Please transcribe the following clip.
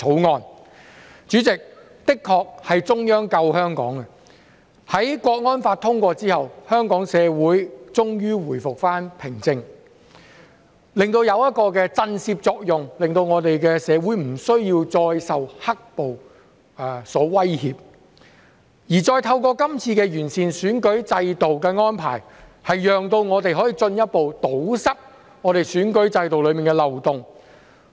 代理主席，的確是中央救香港，在《香港國安法》通過後，香港社會終於回復平靜，起到一個震懾作用，使我們的社會不需要再受"黑暴"所威脅；而再透過這次的完善選舉制度的安排，讓我們可以進一步堵塞選舉制度中的漏洞。